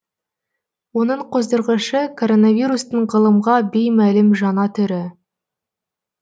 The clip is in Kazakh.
оның қоздырғышы коронавирустың ғылымға беймәлім жаңа түрі